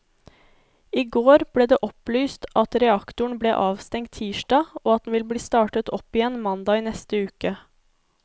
I går ble det opplyst at reaktoren ble avstengt tirsdag og at den vil bli startet opp igjen mandag i neste uke.